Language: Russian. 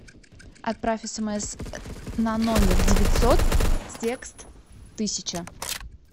отправь смс на номер девятьсот текст тысяча